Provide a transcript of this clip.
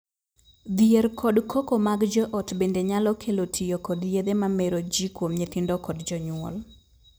Dhier kod koko mag joot bende nyalo kelo tiyo kod yedhe ma mero jii kuom nyithindo kod jonyuol.